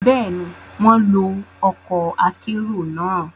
Béèni, wọn lo ọkọ akero náà